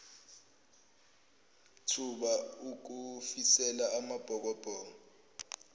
thuba ukufisela amabhokobhoko